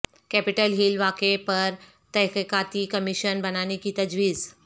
capital Hill واقعے پر تحقیقاتی کمیشن بنانے کی تجویز